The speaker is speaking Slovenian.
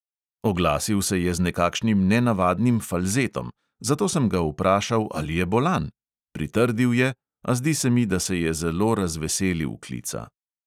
Oglasil se je z nekakšnim nenavadnim falzetom, zato sem ga vprašal, ali je bolan: pritrdil je, a zdi se mi, da se je zelo razveselil klica.